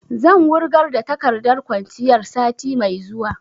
Zan wurgar da takardar kwanciyar sati mai zuwa